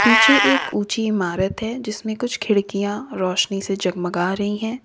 पीछे एक ऊंची इमारत है जिसमें कुछ खिड़कियां रोशनी से जगमगा रही हैं।